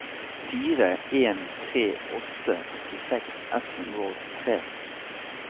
fire en tre åtte åttiseks ett hundre og åttitre